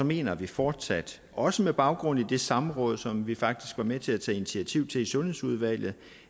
mener vi fortsat også med baggrund i det samråd som vi faktisk var med til at tage initiativ til i sundhedsudvalget